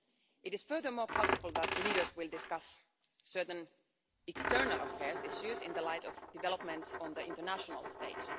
It is furthermore possible that leaders will discuss certain external affairs issues in the light of developments on the international stage.